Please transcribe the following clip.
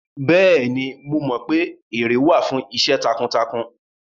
Bẹ́ẹ̀ni, mo mọ pé ère wà fún iṣẹ́ takuntakun